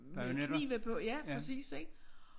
Med knive på ja præcis ik